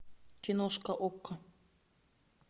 киношка окко